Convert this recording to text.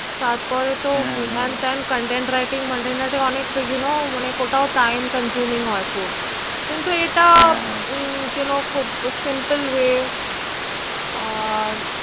তারপরে তো হ্যান ত্যান Content Writing Monten Writing অনেক You know Time Consuming হয় খুব কিন্তু এটা হম You Know Simply Way ah